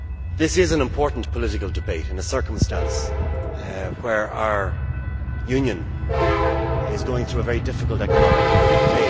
This is an important political debate and a circumstance where our Union is going through a very difficult economic phase.